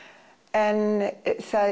en það